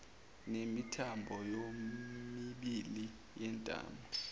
nemithambo yomibili yentamo